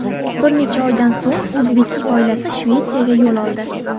Bir necha oydan so‘ng O‘zbekiy oilasi Shvetsiyaga yo‘l oldi.